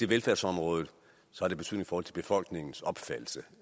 velfærdsområdet har det betydning for befolkningens opfattelse